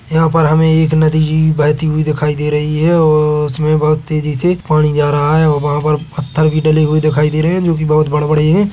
यहाँ पर हमें एक नदी बहती हुई दिखाई दे रही है और उसमें बहुत तेजी से पानी जा रहा है और वहाँ पर पत्थर भी डले हुए दिखाई दे रहे है जो की बहुत बड़े - बड़े हैं।